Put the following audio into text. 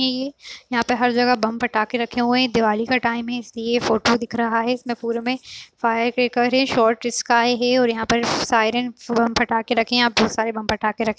यहाँ पे हर जगह बम फटाके रखे हुए है यह दिवाली का टाइम है इसलिए फोटो दिख रहा है इसमे पुरे में फायरक्रेकर है शार्ट स्काई है और यहाँ सायरन बम फटाके रखे है यहाँ बहुत सारे बम फटाके रखे हुए है ।